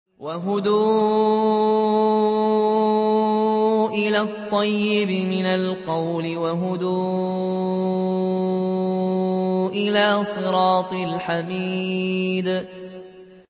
وَهُدُوا إِلَى الطَّيِّبِ مِنَ الْقَوْلِ وَهُدُوا إِلَىٰ صِرَاطِ الْحَمِيدِ